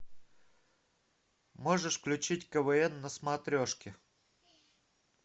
можешь включить квн на смотрешке